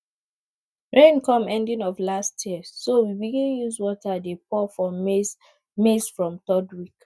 rain come ending of last year so we begin use water dey pour for maize maize from third week